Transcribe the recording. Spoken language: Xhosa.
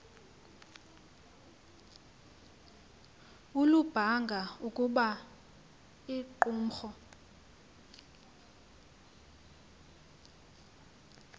olubanga ukuba iqumrhu